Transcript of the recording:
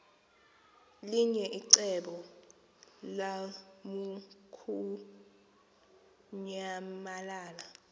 linye icebo lamukunyamalala